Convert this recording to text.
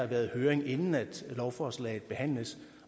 været høring inden lovforslaget behandles